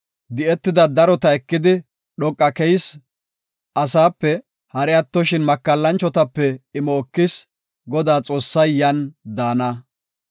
Di7etida darota ekidi, dhoqa keyis; asaape, hari attoshin makallanchotape imo ekis; Goday Xoossay yan daana.